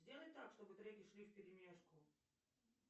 сделай так чтобы треки шли в перемешку